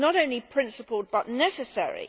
This is not only principled but necessary.